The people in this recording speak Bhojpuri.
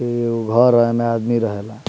ई एगो घर है एमें आदमी रहेला।